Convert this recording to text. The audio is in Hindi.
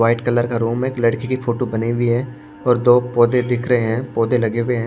वाइट कलर का रूम है एक लड़की की फोटो बनी हुई है और दो पौधे दिख रहे हैं पौधे लगे हुए हैं।